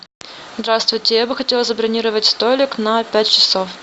здравствуйте я бы хотела забронировать столик на пять часов